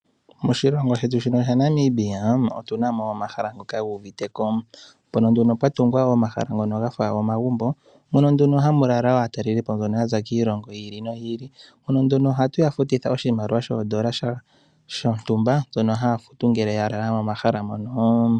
Moshilongo shetu shino shaNamibia otuna na no omahala ngika gu uviteko moka nduno pwa tungwa omahala gafa omagumbo mono nduno hamu lala aataleli po mbono ya za kiilongo yi ili noyi ilii aantu mboka ohatu ya futitha oshimaliwa shondola dhontumba dhono haa futu ngele ya lala momahala moka.